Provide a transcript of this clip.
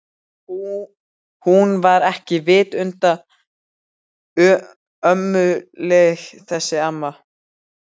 Hún var ekki vitund ömmuleg þessi amma.